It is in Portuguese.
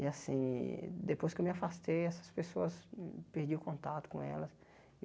E assim, depois que eu me afastei, essas pessoas hum... Perdi o contato com elas.